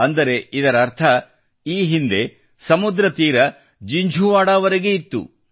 ಅಂದರೆ ಇದರರ್ಥ ಈ ಹಿಂದೆ ಸಮುದ್ರ ತೀರ ಜಿಂಝುವಾಡಾವರೆಗೆ ಇತ್ತು